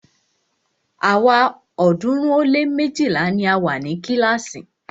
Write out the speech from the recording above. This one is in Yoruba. Àwa ọ̀ọ́dúnrún ó lé méjìlá ni a wa ni kílàásì.